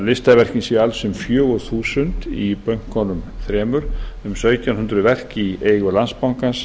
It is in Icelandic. listaverkin séu alls um fjögur þúsund í bönkunum þremur um sautján hundruð verk í eigu landsbankans